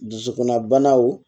Dusukunna banaw